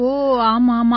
ஓ ஆமாம் ஆமா